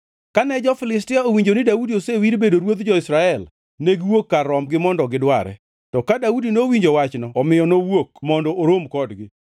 Kane jo-Filistia owinjo ni Daudi osewir bedo ruodh jo-Israel, negiwuok kar rombgi mondo gidware, to ka Daudi nowinjo wachno omiyo nowuok mondo orom kodgi.